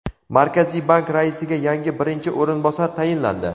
Markaziy bank raisiga yangi birinchi o‘rinbosar tayinlandi.